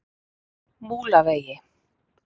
Múlavegi